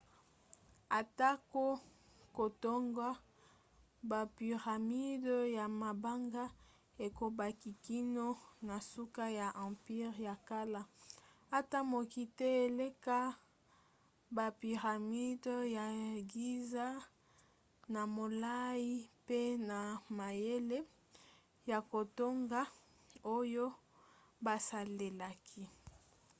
atako kotonga bapyramides ya mabanga ekobaki kino na suka ya empire ya kala ata moko te eleka bapyramides ya giza na molai mpe na mayele ya kotonga oyo basalelaki